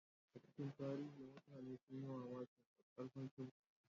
A cikin tarihi, mutane sun yi mamakin ƙaƙƙarfan kyan kwari